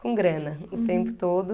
Com grana, uhum, o tempo todo.